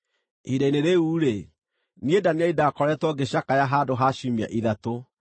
Ihinda-inĩ rĩu-rĩ, niĩ Danieli ndaakoretwo ngĩcakaya handũ ha ciumia ithatũ.